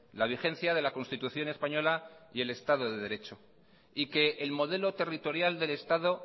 la vigencia de la constitución española y el estado de derecho y que el modelo territorial del estado